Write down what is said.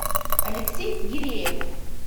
алексей гиреев